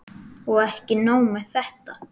Og ekki nóg með þetta.